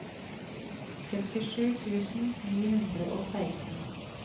femtisju tusen ni hundre og seksten